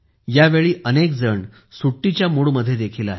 यावेळी अनेकजण सुट्टीच्या मूडमध्ये देखील आहेत